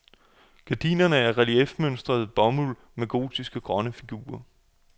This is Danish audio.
Gardinerne er reliefmønstret bomuld med gotiske grønne figurer.